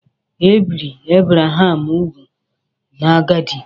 Ebiri Abraham úgwù n'agadi.